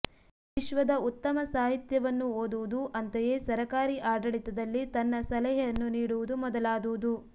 ವಿಶ್ವದ ಉತ್ತಮ ಸಾಹಿತ್ಯವನ್ನು ಓದುವುದು ಅಂತೆಯೇ ಸರಕಾರಿ ಆಡಳಿತದಲ್ಲಿ ತನ್ನ ಸಲಹೆಯನ್ನು ನೀಡುವುದು ಮೊದಲಾದುದು